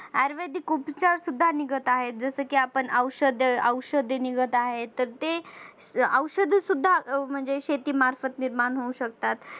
आयुर्वेदिक उपचार सुद्धा निघत आहे जसं की आपण औषध औषधे निघत आहे तर ते औषध सुद्धा म्हणजे शेती मार्फत निर्माण होऊ शकतात.